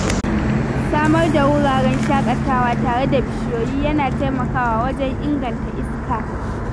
Samar da wuraren shaƙatawa tare da bishiyoyi yana taimakawa wajen inganta iska.